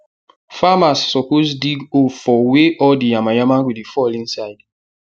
farmers suppose dig hole for wey all di yamayam go dey fall inside